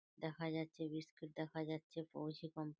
দেখা যাচ্ছে বিস্কুট দেখা যাচ্ছে। পৌছি কোম্পা--